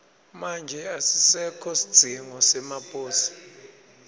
manje asisekho sidzingo semaposi